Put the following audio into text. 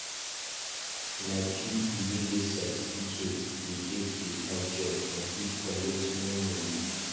Nah people wey get certificate dey get beta job and fit collect more money.